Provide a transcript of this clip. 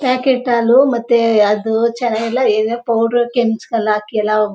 packet ಹಾಲು ಮತ್ತೆ ಅದು ಚೆನ್ನಾಗಿಲ್ಲ ಏನೋ ಪೌಡರು ಕೆಚ್ಚಲ್ ಹಾಕಿ ಎಲ್ಲಾ --